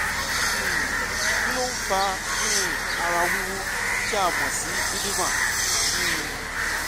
um kí ló ń fa um ara wíwú tí a mọ̀ sí edema? um